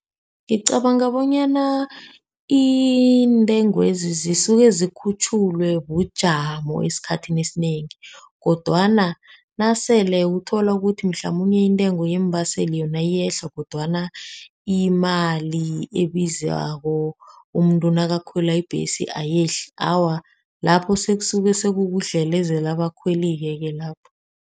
Ngicabanga bonyana intengwezi zisuke zikhutjhulwe bujamo esikhathini esinengi, kodwana nasele utholukuthi mhlamunye intengo yeembaseli yona iyehla, kodwana imali ebizako umuntu nakakhwela ibhesi ayehla awa, lapho sekasuke sekukudlelezela abakhweli-ke lapho.